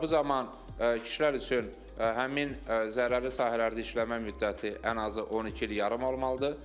Bu zaman kişilər üçün həmin zərərli sahələrdə işləmə müddəti ən azı 12 il yarım olmalıdır.